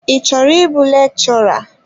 Ị chọrọ ịbụ lekchọra?